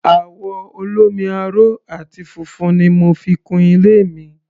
Àwọ̀ olómi-aró àti funfun ni mo fi kun ilé mi.